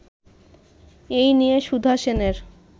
এ নিয়ে সুধা সেনের